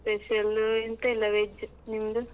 Special ಎಂತಾಯಿಲ್ಲ veg ನಿಮ್ದು?